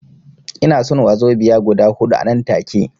Ina son wazobiya guda huɗu anan take